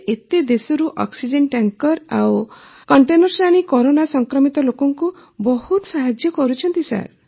ସେ ଏତେ ଦେଶରୁ ଅକ୍ସିଜେନ ଟ୍ୟାଙ୍କର ଆଉ କଣ୍ଟେନର୍ସ ଆଣି କରୋନା ସଂକ୍ରମିତ ଲୋକଙ୍କୁ ବହୁତ ସାହାଯ୍ୟ କରୁଛନ୍ତି